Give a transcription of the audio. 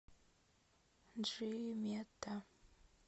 джимета